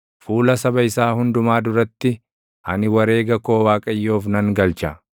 Fuula saba isaa hundumaa duratti, ani wareega koo Waaqayyoof nan galcha.